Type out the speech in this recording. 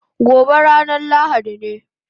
Gobe ranan lahadi ne